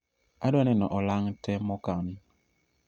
adwa neno olang' te mokan